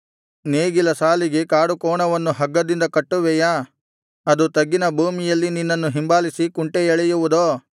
ನೇಗಿಲ ಸಾಲಿಗೆ ಕಾಡುಕೋಣವನ್ನು ಹಗ್ಗದಿಂದ ಕಟ್ಟುವೆಯಾ ಅದು ತಗ್ಗಿನ ಭೂಮಿಯಲ್ಲಿ ನಿನ್ನನ್ನು ಹಿಂಬಾಲಿಸಿ ಕುಂಟೆ ಎಳೆಯುವುದೋ